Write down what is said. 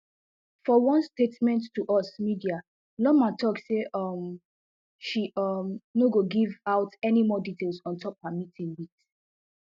for one statement to us media loomer tok say um she um no go give out any more details on top her meeting wit